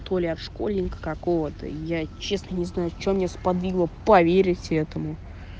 то ли от школьника какого-то я честно не знаю че меня сподвигло поверить этому